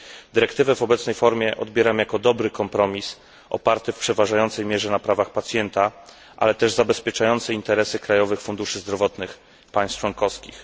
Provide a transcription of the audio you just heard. Dyrektywę w obecnej formie odbieram jako dobry kompromis, oparty w przeważającej mierze na prawach pacjenta, ale też zabezpieczający interesy krajowych funduszy zdrowotnych państw członkowskich.